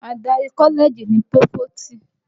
Adarí kọ́lẹ́ẹ̀jì ni Pófóòsì